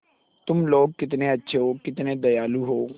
तुम लोग कितने अच्छे हो कितने दयालु हो